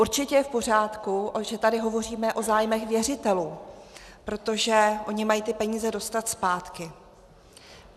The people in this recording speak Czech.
Určitě je v pořádku, že tady hovoříme o zájmech věřitelů, protože oni mají ty peníze dostat zpátky.